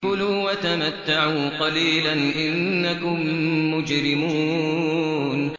كُلُوا وَتَمَتَّعُوا قَلِيلًا إِنَّكُم مُّجْرِمُونَ